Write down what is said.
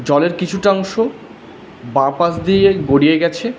জলের কিছুটা অংশ বাঁ পাশ দিয়ে গড়িয়ে গেছে।